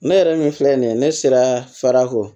Ne yɛrɛ min filɛ nin ye ne sera fara ko